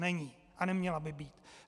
Není a neměla by být.